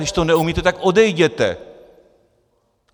Když to neumíte, tak odejděte.